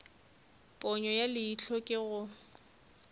ponyo ya leihlo ke ge